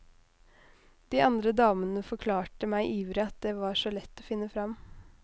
De andre damene forklarte meg ivrig at det var så lett å finne fram.